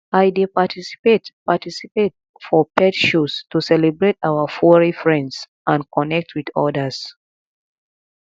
i dey participate participate for pet shows to celebrate our furry friends and connect with others